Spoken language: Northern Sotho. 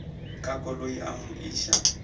ka koloi a mo iša